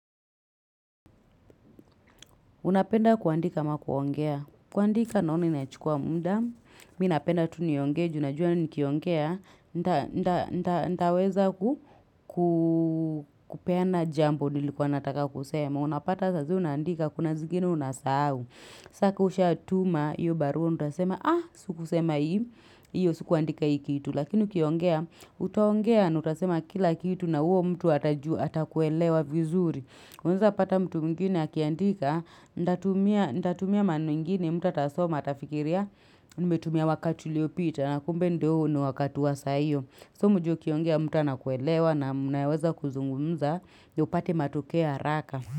Unapenda kuandika ama kuongea. Kuandika naona inanichukua muda. Mi napenda tu niongee ju najua nikiongea. Nitaweza ku kuu kupeana jambo nilikuwa nataka kusema. Unapata saa zile unaandika kuna zingine unasahao. Saa ka ushatuma hiyo baru. Utasema aah Sikusema hii hiyo. Sukuandika hii kitu. Lakini ukiongea. Utaongea. Na utasema kila kitu na huyo mtu atajua. Atakuelewa vizuri unaweza pata mtu mwigine akiandika, nitatumia nitatumia maneno ingine mtu atasoma atafikiria umetumia wakati uliopita na kumbe ndio huu ni wakati wa saa hiyo. So mjue ukiongea mtu anakuelewa na mnaweza kuzungumza, yopate matokea haraka.